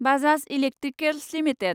Bajaj Electricals limited